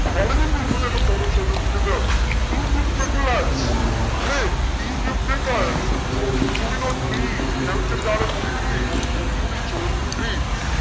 വളരെ famous ആയിട്ടുള്ള quote ആ ഷൈലോക്കിന്റ്റെത് is it ലേ is it Do we do we not bleed നമുക്കെന്താണ് മുറിവില്ലേ മുറിയൂലെ ചോര വരൂലേ.